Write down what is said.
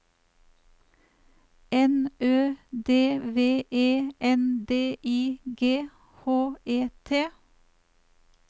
N Ø D V E N D I G H E T